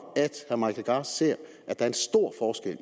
at herre mike legarth ser at der er